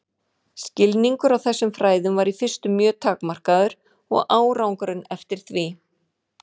Skilningur á þessum fræðum var í fyrstu mjög takmarkaður og árangurinn eftir því.